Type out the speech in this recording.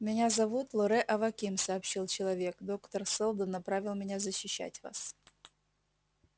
меня зовут лоре аваким сообщил человек доктор сэлдон направил меня защищать вас